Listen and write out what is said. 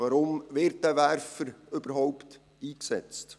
Warum wird dieser Werfer überhaupt eingesetzt?